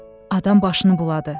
Adam başını buladı.